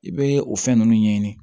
I bɛ o fɛn ninnu ɲɛɲini